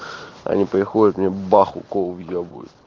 они приходят мне бах укол вебуют